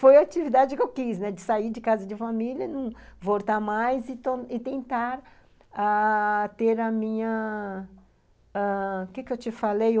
Foi a atividade que eu quis, de sair de casa de família, não voltar mais e tentar ãh ter a minha... O que eu te falei?